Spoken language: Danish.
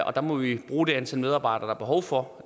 og der må vi bruge det antal medarbejdere der er behov for